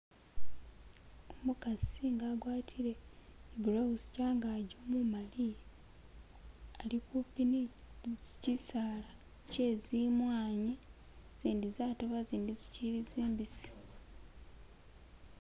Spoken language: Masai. Umukasi nga agwatile i'blowsechangaji umumali ali kupi ne chisaala kye zimwanyi izindi zatoba izindi zichili zimbisi.